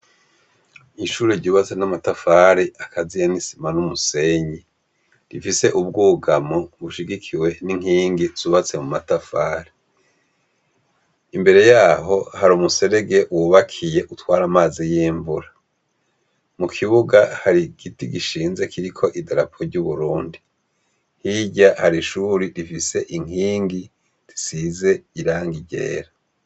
Ishuri ryubatse n'amatafari akaziya n'isima n'umusenyi, rifise ubwugamo bushigikiwe n'inkingi zubatse mu matafari, imbere yaho hari umuserege wubakiye utwara amazi y'imvura, mu kibuga hari giti gishinze kiriko idarapo ry'uburundi, hirya hari ishuri rifise inkingi risize irangi ryera.